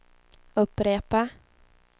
upprepa